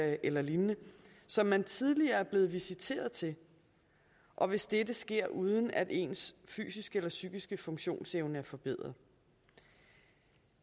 eller lignende som man tidligere er blevet visiteret til og hvis dette sker uden at ens fysiske eller psykiske funktionsevne er forbedret